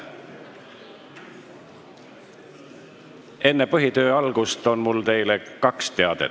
Enne põhitöö algust on mul teile kaks teadet.